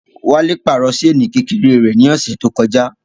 Wálé pàrọ̀ ṣéènì Kẹ̀kẹ́ rẹ̀ ní ọ̀sẹ̀ tó kọjá